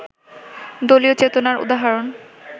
দলীয় চেতনার উদাহরণ